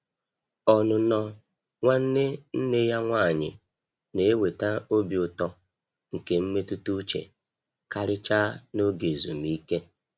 Ọnụnọ nwanne nne ya nwanyi na-eweta obi ụtọ nke mmetụta uche, karịchaa n'oge ezumike.